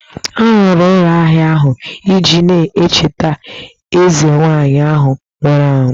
A rụrụ ụlọ ahia ahụ iji na-echeta eze nwaanyị ahụ nwụrụ anwụ